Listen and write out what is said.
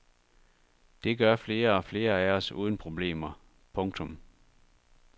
Det gør flere og flere af os uden problemer. punktum